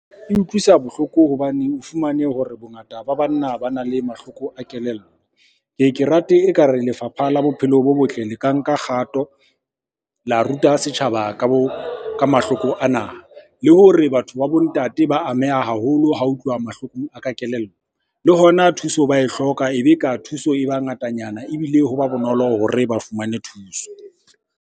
E utlwisa bohloko hobane o fumane hore bongata ba banna bana le mahloko a kelello. Ke ye ke rate ekare lefapha la bophelo bo botle le ka nka kgato la ruta setjhaba ka mahloko ana. Le hore batho ba bo ntate ba ameha haholo ha ho tluwa mahlokong a ka kelello. Le hona thuso ba e hloka, ebe ka thuso e ba ngatanyana ebile ho ba bonolo hore ba fumane thuso.